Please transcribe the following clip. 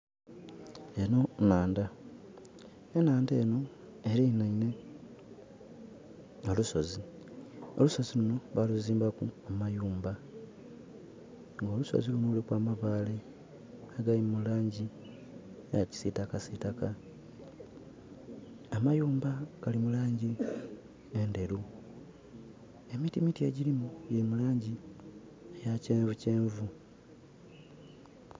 Enho nhandha. Enhandha enho elinhainhe olusozi. Olusozi luno baluzimbaku amayumba. Nga olusozi luno luliku amabaale agali mu laangi eya kisiitakasitaka. Amayumba gali mu laangi endheru. Emitimiti egyirimu gyiri mu laangi eya kyenvukyenvu.